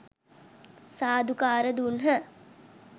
සාධුකාර දුන්හ.